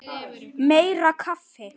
Meira kaffi!